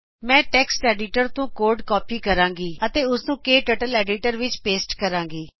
ਮੈਂ text editor ਤੋ code copy ਕਰਾਗੀ ਅਤੇ ਉਸ ਨੂੰ ਕਟਰਟਲ ਐਡੀਟਰ ਵਿਚ ਪੇਸਟ ਕਰਾਗੀ